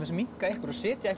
minnka ykkur og setja